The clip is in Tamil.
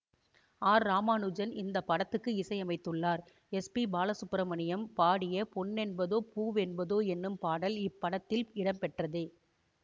ஆர் ராமானுஜன் இந்த படத்துக்கு இசையமைத்துள்ளார் எஸ் பி பாலசுப்பிரமணியம் பாடிய பொன்னென்பதோ பூவென்பதோ என்னும் பாடல் இப்படத்தில் இடம்பெற்றதே